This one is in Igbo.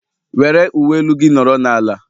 Were uwe elu gị nọrọ n'ala!